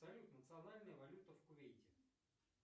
салют национальная валюта в кувейте